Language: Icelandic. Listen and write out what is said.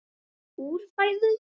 úr fæðu